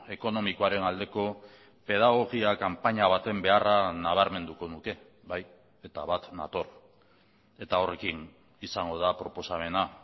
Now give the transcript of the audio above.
ekonomikoaren aldeko pedagogia kanpaina baten beharra nabarmenduko nuke bai eta bat nator eta horrekin izango da proposamena